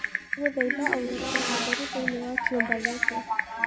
ndagũthaĩtha ongereraũtherĩ thĩĩni wa kiũmba gĩkĩ